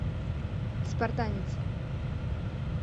спартанец